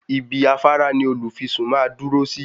Ibi afárá ní olùfisùn màá dúró sí.